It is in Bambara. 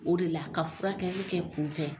O de la ka furakɛli kɛ kun fɛ